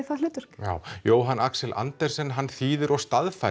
það hlutverk já Jóhann Axel Andersen þýðir og